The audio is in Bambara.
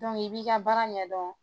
i b'i ka baara ɲɛdɔn